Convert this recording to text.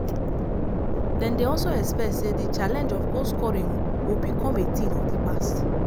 dem dey also expect say di challenge of goal scoring o become a tin of di past.